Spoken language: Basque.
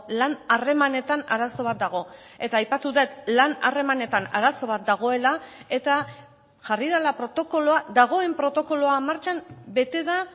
lan harremanetan arazo bat dago eta aipatu dut lan harremanetan arazo bat dagoela eta jarri dela protokoloa dagoen protokoloa martxan bete da